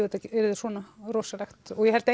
þetta yrði svona rosalegt og ég held